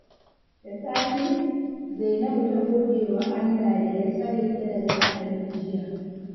Da safe, Zainabu ta gode wa Allah da ya tsare ta daga haɗari jiya.